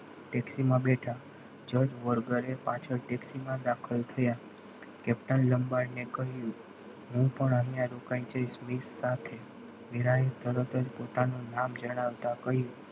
taxi માં બેઠા જજવલ ઘરે પાછળ taxi માં દાખલ થયા captain લંબાડને કહ્યું હું પણ અહીંયા રોકાઈ જઈશ વિકસ સાથે વિનાયક પોતાની તરત જ નામ જણાવતા કહ્યું.